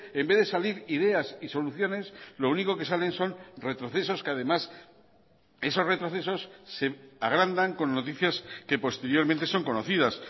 en vez de salir ideas y soluciones lo único que salen son retrocesos que además esos retrocesos se agrandan con noticias que posteriormente son conocidas